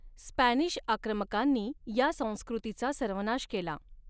Spanish आक्रमकांनी या संस्कृतीचा सर्वनाश केला.